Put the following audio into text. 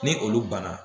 Ni olu banna